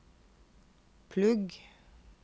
plugg